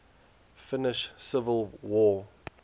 finnish civil war